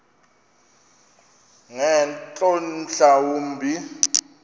ngeentloni mhla wumbi